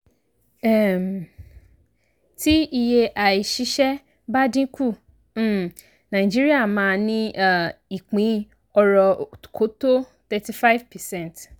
um tí iye àìsísẹ́ bá dínkù um nàìjíríà máa ní um ìpín ọrọ̀ kò tó 35 percent.